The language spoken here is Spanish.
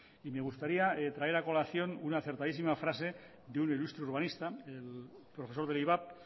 y me gustaría traer a colación una acertadísima frase de un ilustre urbanista el profesor del ivap